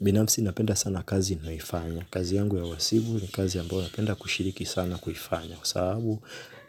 Binamfsi napenda sana kazi naifanya. Kazi yangu ya wasibu ni kazi ya ambayo napenda kushiriki sana kuifanya. Kwa sababu